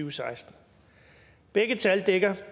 og seksten begge tal dækker